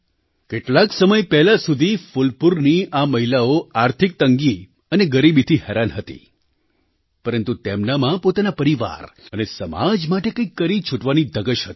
કેટલાક સમય પહેલાં સુધી ફૂલપુરની આ મહિલાઓ આર્થિક તંગી અને ગરીબીથી હેરાન હતી પરંતુ તેમનામાં પોતાના પરિવાર અને સમાજ માટે કંઈક કરી છૂટવાની ધગશ હતી